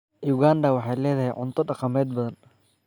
Uganda waxay leedahay cunto dhaqameed badan.